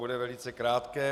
Bude velice krátké.